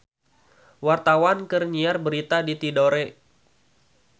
Wartawan keur nyiar berita di Tidore